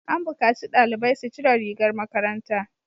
An bukaci dalibai su cire rigar makaranta!